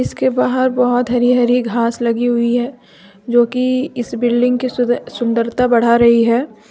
इसके बाहर बहोत हरी हरी घास लगी हुई है जो की इस बिल्डिंग की सुंदरता बढ़ा रही है।